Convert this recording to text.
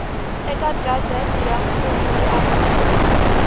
eka gazette ya mfumo ya